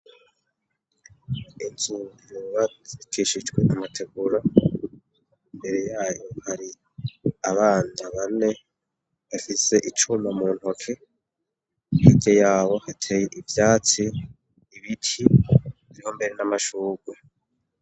inzu zubakishijwe amategura mbere yayo hari abana bane bafise icuma mu ntoke hirya yabo hateye ivyatsi ibiti vyo mbere n'amashugwe